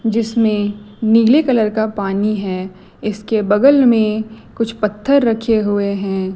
जिसमें नीले कलर का पानी है इसके बगल में कुछ पत्थर रखे हुए हैं।